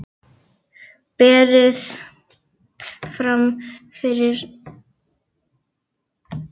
Berið fram með kartöflustöppu og grófu brauði.